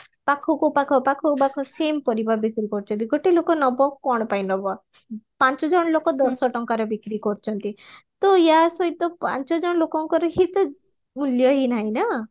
ପାଖକୁ ପାଖ ପାଖକୁ ପାଖ same ପରିବା ବିକ୍ରି କରୁଚନ୍ତି ଗୋଟେ ଲୋକ ନବ କଣ ପାଇଁ ନବ ପାଞ୍ଚ ଜଣ ଲୋକ ଦଶ ଟଙ୍କାରେ ବିକ୍ରି କରୁଚନ୍ତି ତ ୟା ସହିତ ପାଞ୍ଚ ଜଣ ଲୋକଙ୍କର ହିତ ମୂଲ୍ୟ ହି ନାହିଁ ନା